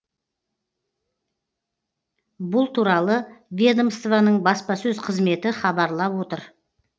бұл туралы ведомствоның баспасөз қызметі хабарлап отыр